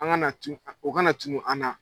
An ka na tun o kana tunu an na.